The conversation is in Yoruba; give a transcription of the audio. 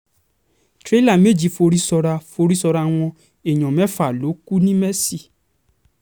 tìrẹ̀là méjì forí sọ́ràá forí sọ́ràá wọn èèyàn mẹ́fà ló kù ńìmesì